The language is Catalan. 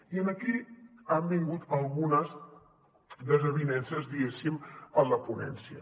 i aquí han vingut algunes desavinences diguéssim en la ponència